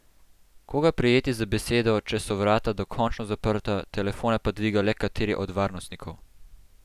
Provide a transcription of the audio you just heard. Koga prijeti za besedo, če so vrata dokončno zaprta, telefone pa dviga le kateri od varnostnikov?